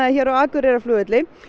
hér á Akureyrarflugvelli